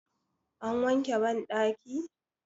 an wanke bandaki?